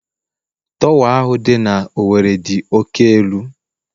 Torwa ahu dị na Owerri dị oke elu